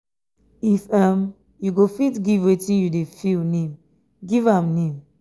if um yu go fit giv um wetin yu dey feel name giv um am name